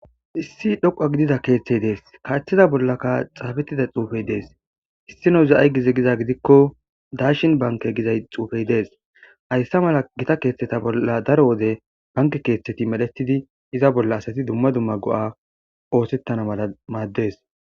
Issi dhoqa gidida keeththey dees kaaththida bollaka xaabettida xuufey dees issi no za7ay gize giza gidikko daashin banke gizay xuufey dees hayssa mala gita keeththeta bolla daro wode banke keeththeti medhetidi iza bolla asati dumma dumma go7a oosettana mala maaddees.